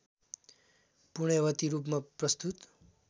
पुण्यवती रूपमा प्रस्तुत